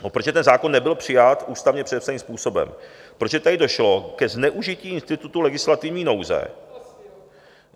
protože ten zákon nebyl přijat ústavně předepsaným způsobem, protože tady došlo ke zneužití institutu legislativní nouze;